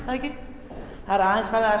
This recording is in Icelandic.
það ekki þær eru aðeins farnar